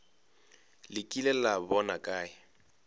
le kile la bona kae